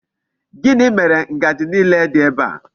Gini mere Ngaji niile di ebe a?